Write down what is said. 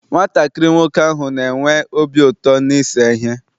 Nwatakịrị nwoke ahụ na-enwe obi ụtọ n'ise ihe.